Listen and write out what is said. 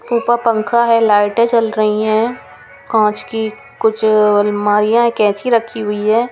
ऊपर पंखा है लाइटे चल रही है काँच की कुछ अ अ अ अलमारीयाँ कैंची रखी हुई है ।